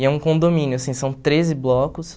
E é um condomínio, assim, são treze blocos.